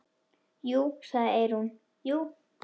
Jú, sagði Eyrún, jú.